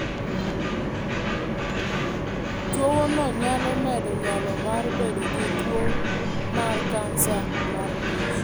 Tuwono nyalo medo nyalo mar bedo gi tuwo mar kansa mar ich.